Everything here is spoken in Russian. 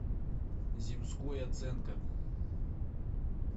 земской оценка